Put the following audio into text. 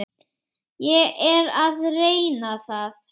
Ég er að reyna það.